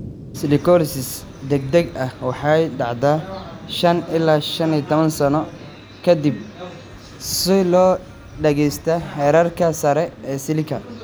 Silicosis degdega ah waxay dhacdaa 5 ilaa 15 sano ka dib soo-gaadhista heerarka sare ee silica.